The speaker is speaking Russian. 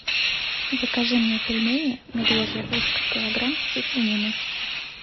закажи мне пельмени медвежье ушко килограмм со свининой